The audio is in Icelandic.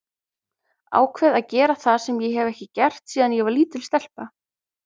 Ákveð að gera það sem ég hef ekki gert síðan ég var lítil stelpa.